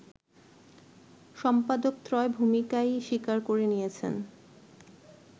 সম্পাদকত্রয় ভূমিকায়ই স্বীকার করে নিয়েছেন